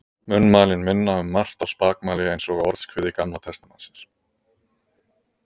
Munnmælin minna um margt á spakmæli eins og Orðskviði Gamla testamentisins.